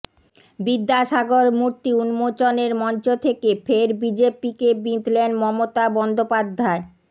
বিদ্যাসাগর মূর্তি উন্মোচনের মঞ্চ থেকে ফের বিজেপিকে বিঁধলেন মমতা বন্দ্যোপাধ্যায়